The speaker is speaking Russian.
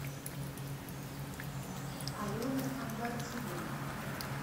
алена амбарцумовна